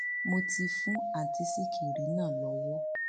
mo ti fún àǹtí sìkìrì náà lọwọ